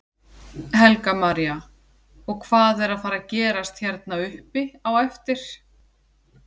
Helga María: Og hvað er að fara gerast hérna uppi á eftir?